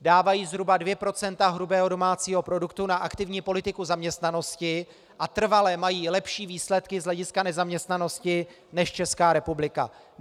Dávají zhruba 2 % hrubého domácího produktu na aktivní politiku zaměstnanosti a trvale mají lepší výsledky z hlediska nezaměstnanosti než Česká republika.